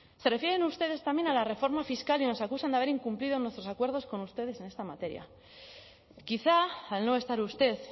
se refieren ustedes también a la reforma fiscal y nos acusan de haber incumplido nuestros acuerdos con ustedes en esta materia quizá al no estar usted